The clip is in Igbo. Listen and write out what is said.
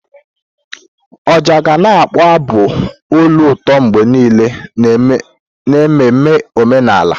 Ọjà ga na-akpọ abụ olu ụtọ mgbe niile n'ememme omenala.